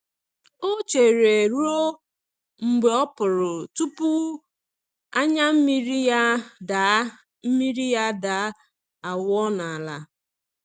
O chere ruo mgbe ọpụrụ tupu anya mmiri ya daa mmiri ya daa awụọ n'ala.